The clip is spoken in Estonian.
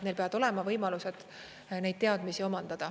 Neil peavad olema võimalused neid teadmisi omandada.